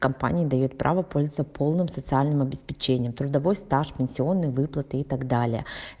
компания даёт право пользоваться полным социальным обеспечением трудовой стаж пенсионный выплаты и так далее